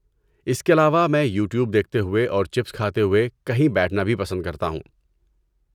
اس کے علاوہ میں یوٹیوب دیکھتے ہوئے اور چپس کھاتے ہوئے کہیں بیٹھنا بھی پسند کرتا ہوں۔